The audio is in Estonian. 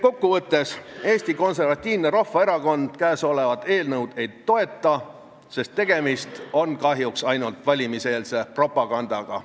Kokku võttes Eesti Konservatiivne Rahvaerakond seda eelnõu ei toeta, sest tegemist on kahjuks ainult valimiseelse propagandaga.